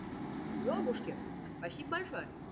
ёбушки спасибо большое